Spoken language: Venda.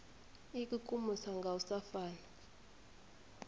ikukumusa nga u sa fana